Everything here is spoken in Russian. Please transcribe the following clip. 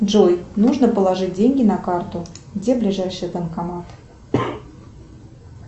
джой нужно положить деньги на карту где ближайший банкомат